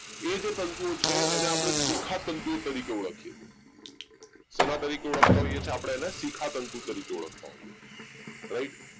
એ જે તંતુઓ છે એને આપણે શિખા તંતુઓ તરીકે ઓળખીએ છીએ શેના તરીકે ઓળખે છે આપણે એને શિખા તંતુ તરીકે ઓળખે છે right